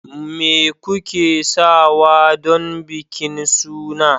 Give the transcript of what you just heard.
me kuke sawa don bikin suna